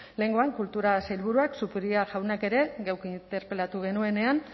lehengoan kultura sailburuak zupiria jaunak ere geuk interpelatu genuenean